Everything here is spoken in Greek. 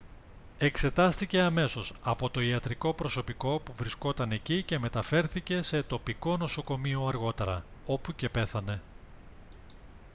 εξετάστηκε αμέσως από το ιατρικό προσωπικό που βρισκόταν εκεί και μεταφέρθηκε σε τοπικό νοσοκομείο αργότερα όπου και πέθανε